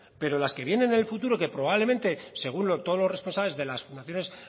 pero las que vienen en el futuro que probablemente según todos los responsables de las fundaciones